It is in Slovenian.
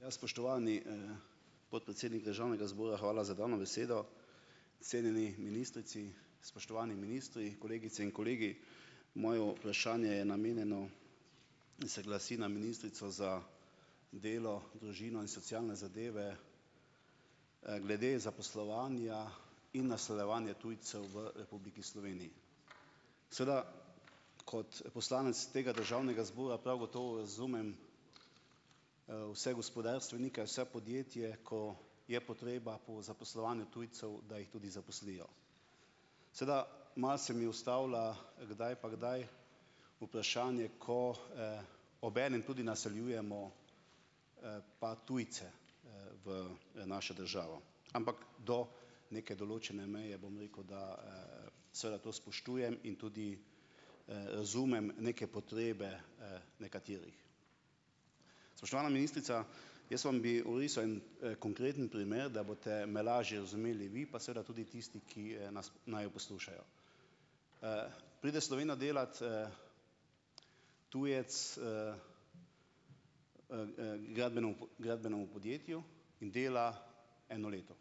Ja, spoštovani, podpredsednik državnega zbora, hvala za dano besedo. Cenjeni ministrici, spoštovani ministri, kolegice in kolegi! Mojo vprašanje je namenjeno in se glasi na ministrico za delo, družino in socialne zadeve, glede zaposlovanja in naseljevanja tujcev v Republiki Sloveniji. Seveda kot, poslanec tega državnega zbora prav gotovo razumem, vse gospodarstvenike vse podjetje, ko je potreba po zaposlovanju tujcev, da jih tudi zaposlijo. Seveda malo se mi ustavlja kdaj pa kdaj vprašanje, ko, obenem tudi naseljujemo, pa tujce, v, našo državo. Ampak do neke določene meje, bom rekel, da, seveda to spoštujem in tudi, razumem neke potrebe, nekaterih. Spoštovana ministrica, jaz vam bi orisal en, konkreten primer, da boste me lažje razumeli vi, pa seveda tudi tisti, ki, nas naju poslušajo. Pride v Slovenijo delat, tujec, gradbenemu gradbenemu podjetju in dela eno leto.